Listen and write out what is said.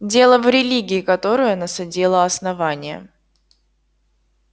дело в религии которую насадило основание